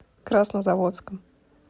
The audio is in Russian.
краснозаводском